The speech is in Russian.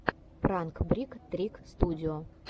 пранк брик трик студио